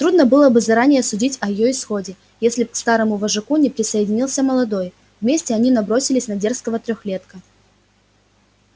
трудно было бы заранее судить о её исходе если б к старому вожаку не присоединился молодой вместе они набросились на дерзкого трёхлетка